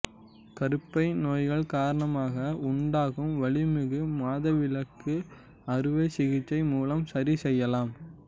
கருப்பை நோய்கள் காரணமாக உண்டாகும் வலிமிகு மாதவிலக்கு அறுவைசிகிச்சை மூலம் சரி செய்யலாயம்